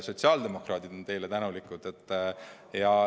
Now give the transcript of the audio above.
Sotsiaaldemokraadid on teile tänulikud.